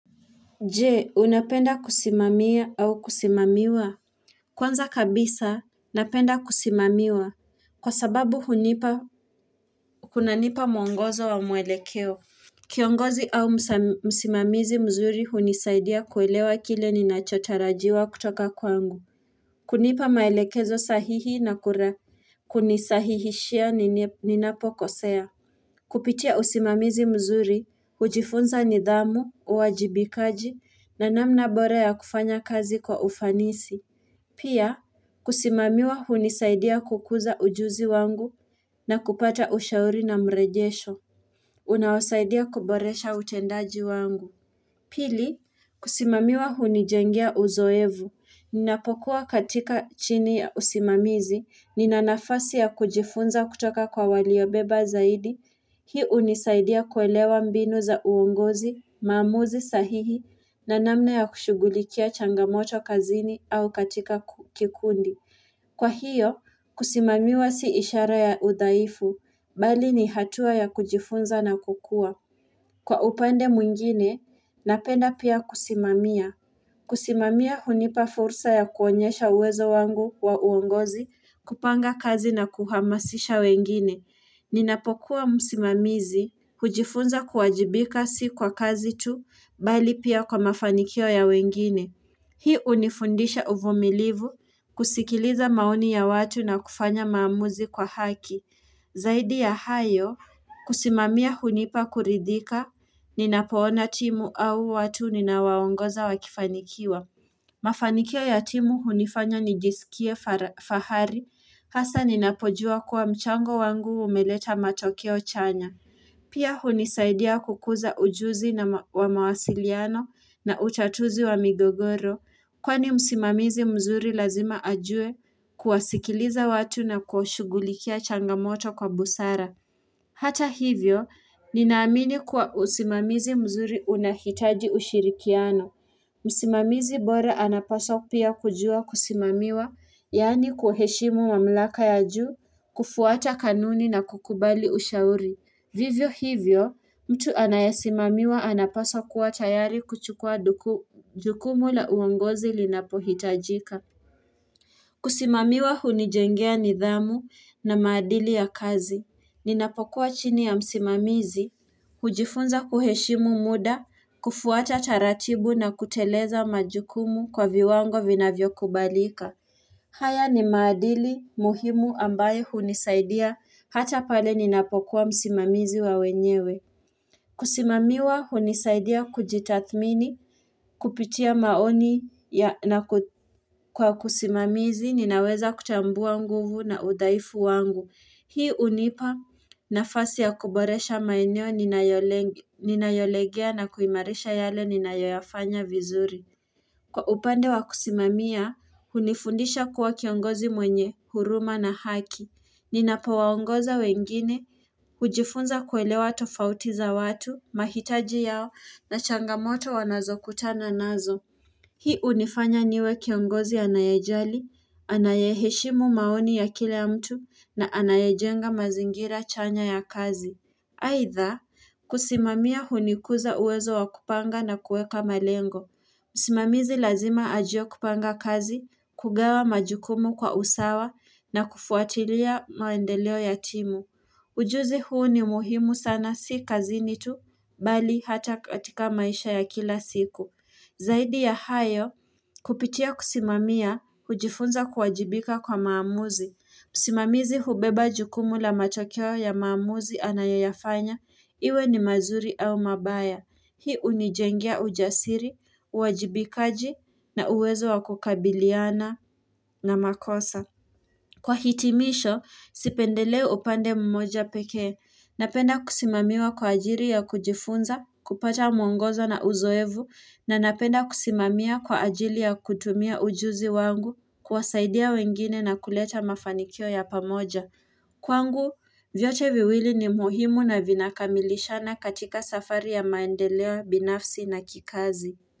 Jee unapenda kusimamia au kusimamiwa Kwanza kabisa napenda kusimamiwa kwa sababu hunipa kunanipa mwongozo wa mwelekeo Kiongozi au msimamizi mzuri hunisaidia kuelewa kile ninachotarajiwa kutoka kwangu kunipa maelekezo sahihi na kura Kunisahihishia ninapokosea kupitia usimamizi mzuri, hujifunza nidhamu, uwajibikaji na namna bora ya kufanya kazi kwa ufanisi. Pia, kusimamiwa hunisaidia kukuza ujuzi wangu na kupata ushauri na mrejesho. Unawasaidia kuboresha utendaji wangu. Pili, kusimamiwa hunijengea uzoevu. Ninapokuwa katika chini ya usimamizi. Ninanafasi ya kujifunza kutoka kwa waliobeba zaidi. Hii hunisaidia kuelewa mbinu za uongozi, mamuzi sahihi, na namna ya kushugulikia changamoto kazini au katika kikundi. Kwa hiyo, kusimamiwa si ishara ya udhaifu, bali ni hatua ya kujifunza na kukua. Kwa upande mwingine, napenda pia kusimamia. Kusimamiaa hunipa fursa ya kuonyesha uwezo wangu wa uongozi, kupanga kazi na kuhamasisha wengine. Ninapokuwa msimamizi, hujifunza kuwajibika si kwa kazi tu, bali pia kwa mafanikio ya wengine. Hii hunifundisha uvumilivu, kusikiliza maoni ya watu na kufanya maamuzi kwa haki. Zaidi ya hayo, kusimamia hunipa kuridhika, ninapoona timu au watu ninawaongoza wakifanikiwa. Mafanikio ya timu hunifanya nijisikie fahari hasa ninapojua kuwa mchango wangu umeleta matokeo chanya. Pia hunisaidia kukuza ujuzi na wa mawasiliano na utatuzi wa migogoro kwani msimamizi mzuri lazima ajue kuwasikiliza watu na kuashugulikia changamoto kwa busara. Hata hivyo ninaamini kuwa usimamizi mzuri unahitaji ushirikiano. Msimamizi bora anapaswa pia kujua kusimamiwa, yani kuheshimu mamlaka ya juu, kufuata kanuni na kukubali ushauri. Vivyo hivyo, mtu anayasimamiwa anapaswa kua tayari kuchukua jukumu la uongozi linapohitajika. Kusimamiwa hunijengea nidhamu na madili ya kazi. Ninapokua chini ya msimamizi, hujifunza kuheshimu muda, kufuata taratibu na kuteleza majukumu kwa viwango vinavyokubalika. Haya ni madili muhimu ambaye hunisaidia hata pale ninapokua msimamizi wa wenyewe. Kusimamiwa hunisaidia kujitathmini, kupitia maoni na kwa kusimamizi ninaweza kutambua nguvu na udhaifu wangu. Fasi ya kuboresha maineo ninayolegea na kuimarisha yale ninayoyafanya vizuri. Kwa upande wa kusimamia, hunifundisha kua kiongozi mwenye, huruma na haki. Ninapoongoza wengine, hujifunza kuelewa tofautiza watu, mahitaji yao na changamoto wanazokutana nazo. Hii hunifanya niwe kiongozi anayejali, anayeheshimu maoni ya kila ya mtu na anayajenga mazingira chanya ya kazi. Haitha, kusimamia hunikuza uwezo wakupanga na kueka malengo. Msimamizi lazima ajue kupanga kazi, kugawa majukumu kwa usawa na kufuatilia maendeleo ya timu. Ujuzi huu ni muhimu sana si kazini tu, bali hata katika maisha ya kila siku. Zaidi ya hayo, kupitia kusimamia, hujifunza kuwajibika kwa maamuzi. Musimamizi hubeba jukumu la matokeo ya maamuzi anayoyafanya iwe ni mazuri au mabaya. Hii hunijengia ujasiri, uajibikaji na uwezo wakukabiliana na makosa. Kwa hitimisho, sipendelei upande mmoja pekee. Napenda kusimamiwa kwa ajiri ya kujifunza, kupata mwongozo na uzoevu, na napenda kusimamia kwa ajiri ya kutumia ujuzi wangu kwasaidia wengine na kuleta mafanikio ya pamoja. Kwangu, vyote viwili ni muhimu na vinakamilishana katika safari ya maendeleo binafsi na kikazi.